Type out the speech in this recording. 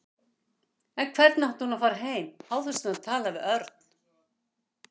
En hvernig átti hún að fara heim án þess að hafa talað við Örn?